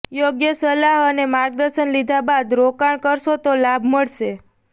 યોગ્ય સલાહ અને માર્ગદર્શન લીધા બાદ રોકાણ કરશો તો લાભ મળશે